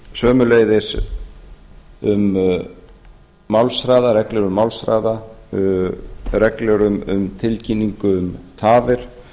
sömuleiðis um málshraða reglur um málshraða reglur um tilkynningu um tafir